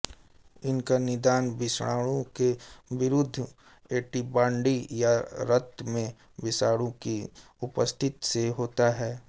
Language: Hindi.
इसका निदान विषाणु के विरुद्ध ऐंटीबॉडी या रक्त में विषाणु की उपस्थिति से होता है